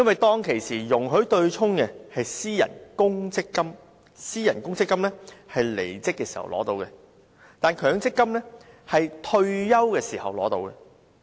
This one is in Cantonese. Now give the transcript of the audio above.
當年容許對沖的是私人公積金，僱員離職時可提取款項，但強積金則規定僱員退休時才能提取款項。